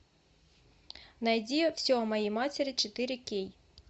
найди все о моей матери четыре кей